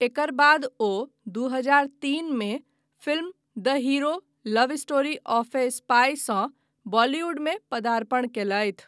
एकर बाद ओ दू हजार तीन मे film the hero love story of a spy सँ बॉलीवुडमे पदार्पण कयलथि।